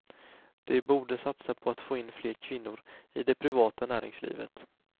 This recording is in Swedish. De borde satsa på att få in fler kvinnor i det privata näringslivet.